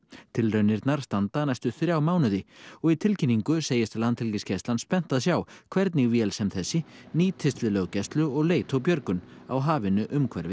tilraunirnar standa næstu þrjá mánuði og í tilkynningu segist Landhelgisgæslan spennt að sjá hvernig vél sem þessi nýtist við löggæslu og leit og björgun á hafinu umhverfis